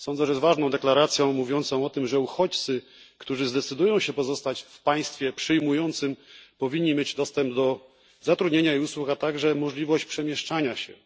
jest ważną deklaracją mówiącą o tym, że uchodźcy, którzy zdecydują się pozostać w państwie przyjmującym, powinni mieć dostęp do zatrudnienia i usług, a także możliwość przemieszczania się.